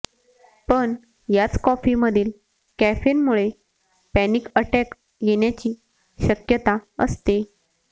पण याच कॉफीमधील कॅफेनमुळे पॅनिक अॅटॅक येण्याची शक्यता असते